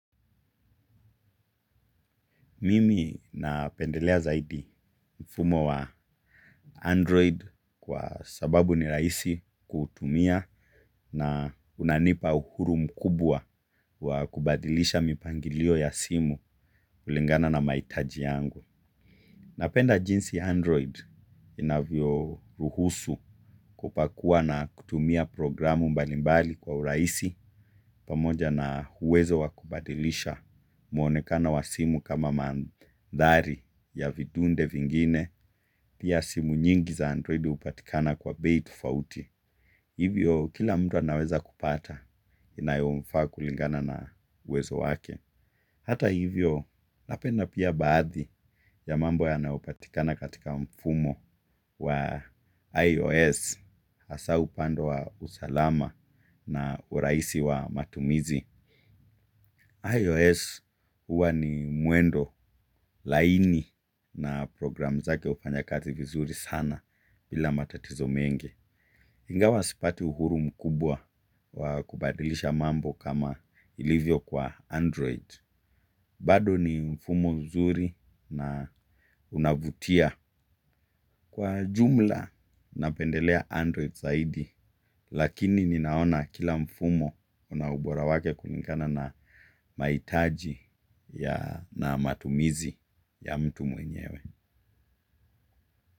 Mimi na pendelea zaidi mfumo wa Android kwa sababu ni raisi kuhutumia na unanipa uhuru mkubwa wa kubadilisha mipangilio ya simu ulingana na maitaji yangu. Napenda jinsi Android inavyo ruhusu kupakua na kutumia programu mbalimbali kwa huraisi pamoja na uwezo wakubadilisha mwonekana wa simu kama mandhari ya vidunde vingine pia simu nyingi za Android upatikana kwa behi tofauti. Hivyo kila mtu anaweza kupata inayomfa kulingana na uwezo wake. Hata hivyo napenda pia baadhi ya mambo ya nayopatikana katika mfumo wa IOS, asau pando wa usalama na uraisi wa matumizi. IOS huwa ni muendo laini na program zake ufanya kazi vizuri sana bila matatizo mengi. Ingawa sipati uhuru mkubwa wakubadilisha mambo kama ilivyo kwa Android. Bado ni mfumo mzuri na unavutiya kwa ujumla napendeleya android zahidi. Lakini ninaona kila mfumo una ubora wake kulingana na maitaji ya na matumizi ya mtu mwenyewe.